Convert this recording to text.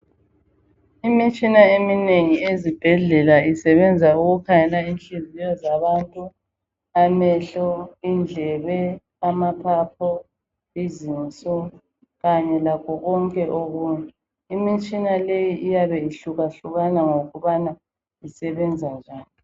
Imitshina eminengi ezibhedlela isebenza ukukhangela inhliziyo zabantu amehlo indlebe amaphaphu izinso kanye lakho konke okunye imitshina leyi iyabe ihluka hlukana ngokubana isebenza njani.